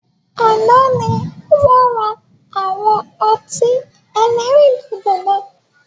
Àná ni wọn ra àwọn ọtí ẹlẹ́rìndòdò náà